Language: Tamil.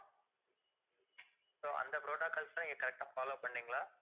so அந்த protocols லாம் நீங்க correct ஆ follow பண்ணீங்களா